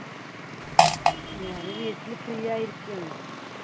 ഞാന് വീട്ടില് free ആയി ഇരിക്കാണ്